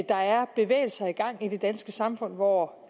der er bevægelser i gang i det danske samfund hvor